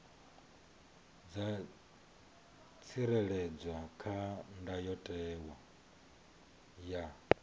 dza tsireledzwa kha ndayotewa ya